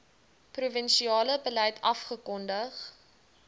provinsiale beleid afgekondig